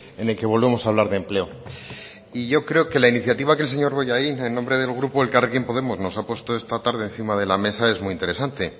en el que volvemos a hablar de empleo y yo creo que la iniciativa que el señor bollain en nombre del grupo elkarrekin podemos nos ha puesto esta tarde encima de la mesa es muy interesante